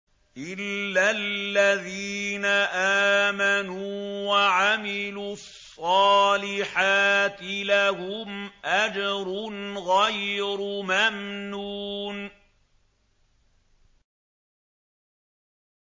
إِلَّا الَّذِينَ آمَنُوا وَعَمِلُوا الصَّالِحَاتِ لَهُمْ أَجْرٌ غَيْرُ مَمْنُونٍ